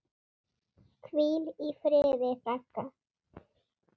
Hvíl í friði, frænka.